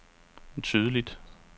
tydeligt